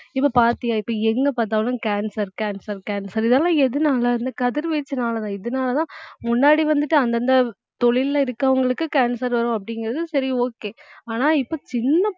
இப்ப பார்த்தியா இப்ப எங்க பார்த்தாலும் cancer cancer cancer இதெல்லாம் எதனால இந்த கதிர்வீச்சுனாலதான் இதனாலதான் முன்னாடி வந்துட்டு அந்தந்த தொழில்ல இருக்கிறவங்களுக்கு cancer வரும் அப்படிங்கறது சரி okay ஆனா இப்ப சின்ன